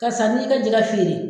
Karisa, n ye i ka jɛgɛ feere.